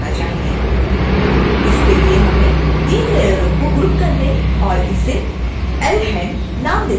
इसके लिए हमें इन तीन लेयरों को ग्रुप करने और इसे lhand नाम देने की आवश्यकता है